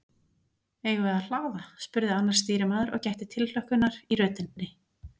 Eigum við að hlaða? spurði annar stýrimaður og gætti tilhlökkunar í röddinni.